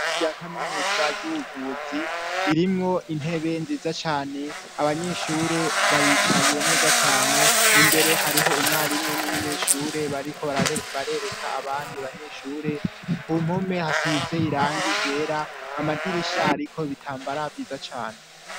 Rya kaminuza ry'ubuvuzi ririmwo intebe nziza cane abanyeshure baricaye neza cane imbere hariho umwarimu n'umunyeshure bariko barereka abandi banyeshure ku mpome hasize irangi ryera amadirisha ariko bitambara vyiza cane.